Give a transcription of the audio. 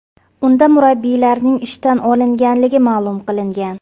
Unda murabbiyning ishdan olingani ma’lum qilingan.